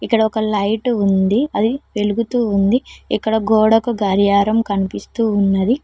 ఇక్కడ ఒక లైట్ ఉంది అది వెలుగుతూ ఉంది ఇక్కడ గోడకు గడియారం కనిపిస్తూ ఉన్నది.